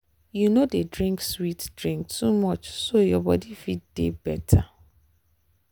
you no dey drink sweet drink too much so your body fit dey better.